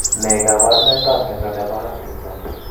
Ne kaabarunetap mnyando ne po Huntington?